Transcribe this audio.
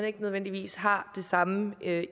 ikke nødvendigvis har det samme